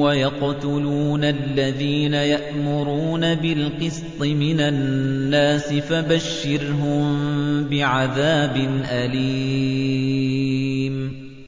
وَيَقْتُلُونَ الَّذِينَ يَأْمُرُونَ بِالْقِسْطِ مِنَ النَّاسِ فَبَشِّرْهُم بِعَذَابٍ أَلِيمٍ